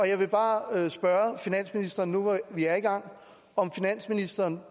jeg vil bare spørge finansministeren nu hvor vi er i gang om finansministeren